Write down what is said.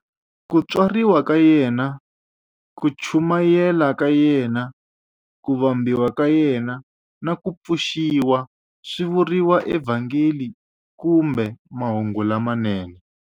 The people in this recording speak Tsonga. Ku tswariwa ka yena, ku chumayela ka yena, ku vambiwa ka yena, na ku pfuxiwa swi vuriwa eVhangeli kumbe Mahungu lamanene.